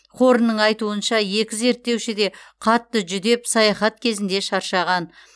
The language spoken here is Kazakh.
хорнның айтуынша екі зерттеуші де қатты жүдеп саяхат кезінде шаршаған